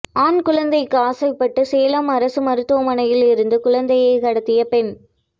ஆண் குழந்தைக்கு ஆசைப்பட்டு சேலம் அரசு மருத்துவமனையில் இருந்து குழந்தையை கடத்திய பெண்